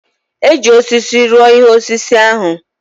E ji osisi rụọ ihe osise ahụ.